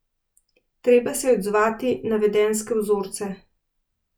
Treba se je odzvati na vedenjske vzorce.